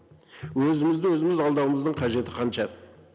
өзімізді өзіміз алдауымыздың қажеті қанша